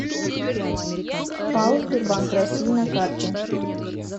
пао сбербанк россии на карте